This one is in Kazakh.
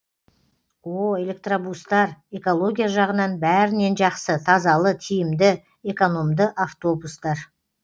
о электробустар экология жағынан бәрінен жақсы тазалы тиімді экономды автобустар